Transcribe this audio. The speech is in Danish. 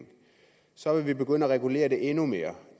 så vil vi begynde at regulere det endnu mere